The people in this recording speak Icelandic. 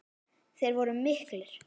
Þeir voru miklir.